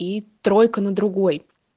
и тройка на другой